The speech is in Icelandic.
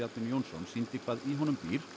Jónsson sýndi hvað í honum býr